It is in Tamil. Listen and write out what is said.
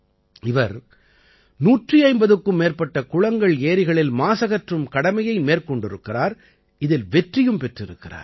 இவர் 150க்கும் மேற்பட்ட குளங்கள்ஏரிகளில் மாசகற்றும் கடமையை மேற்கொண்டிருக்கிறார் இதில் வெற்றியும் பெற்றிருக்கிறார்